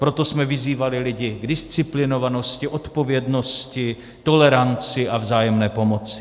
Proto jsme vyzývali lidi k disciplinovanosti, odpovědnosti, toleranci a vzájemné pomoci.